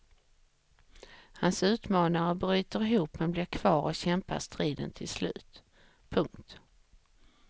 Hans utmanare bryter ihop men blir kvar och kämpar striden till slut. punkt